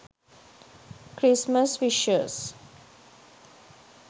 christmas wishes